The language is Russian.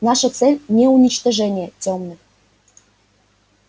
наша цель не уничтожение тёмных